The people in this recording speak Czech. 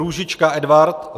Růžička Edvard